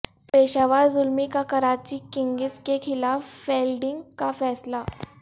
پشاور زلمی کا کراچی کنگز کیخلاف فیلڈنگ کا فیصلہ